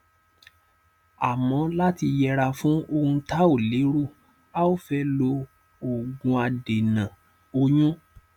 àmọ láti yẹra fún ohun tá ò lérò a fẹ lo òògùadènà oyún